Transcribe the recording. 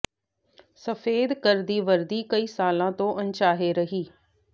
ਸਫੈਦ ਘਰ ਦੀ ਵਰਦੀ ਕਈ ਸਾਲਾਂ ਤੋਂ ਅਣਚਾਹੇ ਰਹੀ